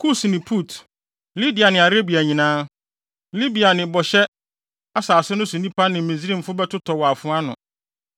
Kus ne Put, Lidia ne Arabia nyinaa, Libia ne bɔhyɛ asase no so nnipa ne Misraim bɛtotɔ wɔ afoa ano.